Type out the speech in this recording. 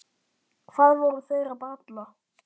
Hvað voru þeir að bralla?